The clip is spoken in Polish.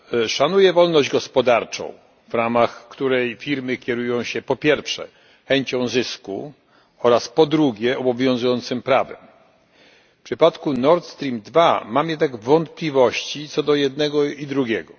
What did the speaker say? Szanuję wolność gospodarczą w ramach której firmy kierują się po pierwsze chęcią zysku oraz po drugie obowiązującym prawem. W przypadku Nord Stream II mam jednak wątpliwości co do jednego i drugiego.